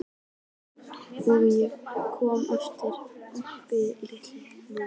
Og hvernig komið er fyrir Oddi litla núna.